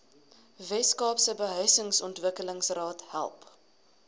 weskaapse behuisingsontwikkelingsraad help